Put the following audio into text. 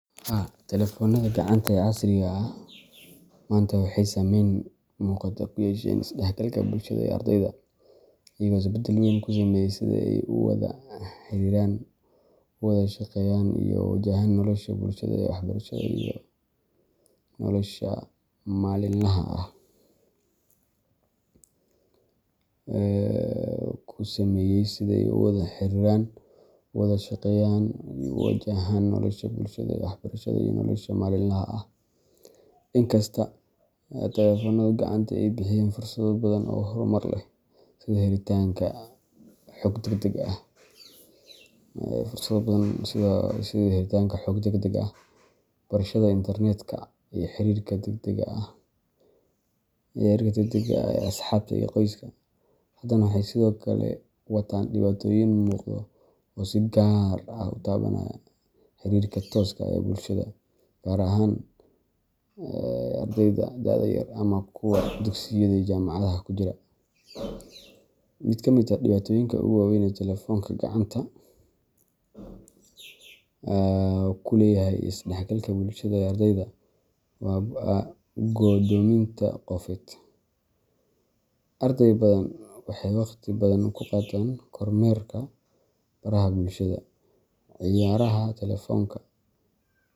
Haa, telefoonnada gacanta ee casriga ah maanta waxay saameyn muuqata ku yeesheen is-dhexgalka bulshada ee ardayda, iyagoo isbeddel weyn ku sameeyay sida ay u wada xiriiraan, u wada shaqeeyaan, iyo u wajahaan nolosha bulshada ee waxbarashada iyo nolosha maalinlaha ah. Inkasta oo telefoonnada gacanta ay bixiyeen fursado badan oo horumar leh sida helitaanka xog degdeg ah, barashada internet-ka, iyo xiriirka degdega ah ee asxaabta iyo qoyska, haddana waxay sidoo kale wataan dhibaatooyin muuqda oo si gaar ah u taabanaya xiriirka tooska ah ee bulshada, gaar ahaan ee ardayda da’da yar ama kuwa dugsiyada iyo jaamacadaha ku jira. Mid ka mid ah dhibaatooyinka ugu waaweyn ee telefoonka gacanta ku leeyahay is-dhexgalka bulshada ee ardayda waa go'doominta qofeed. Arday badan waxay waqti badan ku qaataan kormeerka baraha bulshada, ciyaaraha telefoonka,